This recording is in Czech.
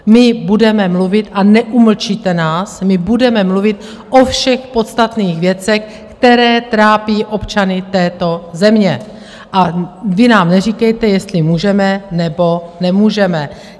My budeme mluvit a neumlčíte nás, my budeme mluvit o všech podstatných věcech, které trápí občany této země, a vy nám neříkejte, jestli můžeme, nebo nemůžeme.